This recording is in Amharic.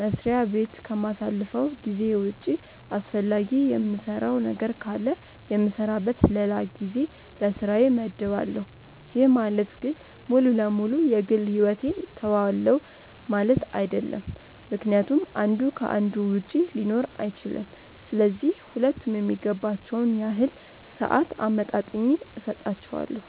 መስሪያ በት ከማሳልፈው ጊዜ ውጪ አስፈላጊ የምሰራው ነገር ካለ የምሰራበት ለላ ጊዜ ለስራዬ መድባለው፤ ይህ ማለት ግን ሙሉ ለ ሙሉ የ ግል ሕይወቴን ትውዋለው ማለት አይድለም ምክንያቱም አንዱ ከ አንዱ ውጪ ሊኖር አይችልም፤ ስለዚህ ሁለቱም የሚገባቸውን ያህል ሰአት አመጣጥኜ ሰጣቸዋለው።